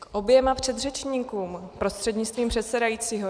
K oběma předřečníkům prostřednictvím předsedajícího.